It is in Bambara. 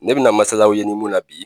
Ne bɛna masala aw ye nin mun na bi